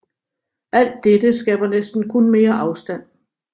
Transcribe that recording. Al dette skaber næsten kun mere afstand